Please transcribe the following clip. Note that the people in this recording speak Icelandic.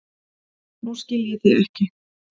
Nú skil ég þig ekki.